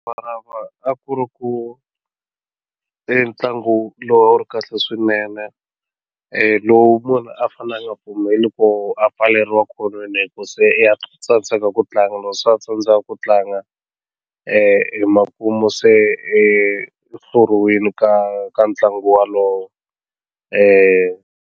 a ku ri ku i ntlangu lowu a wu ri kahle swinene lowu munhu a fanele a nga pfumeliwi ku a pfaleriwa ekhonweni hi ku se ya tsandzeka ku tlanga swa tsandza ku tlanga emakumu se u hluriwile ka ka ntlangu walowo .